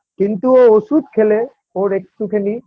কিন্তু ও ওষুধ খেলে ওর একটু খানি